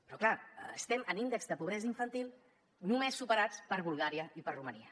però clar estem en índexs de pobresa infantil només superats per bulgària i per romania